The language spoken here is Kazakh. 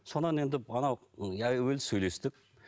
содан енді анау сөйлестік